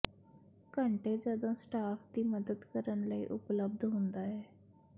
ਘੰਟੇ ਜਦੋਂ ਸਟਾਫ ਦੀ ਮਦਦ ਕਰਨ ਲਈ ਉਪਲਬਧ ਹੁੰਦਾ ਹੈ